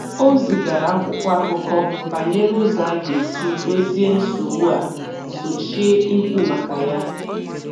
O zigara akwụkwọ akụkọ banyere ụzọ a ga-esi dozie nsogbu a sochie ikwu maka ya.